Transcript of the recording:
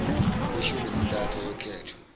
kweshumi nantathu ayokhethwa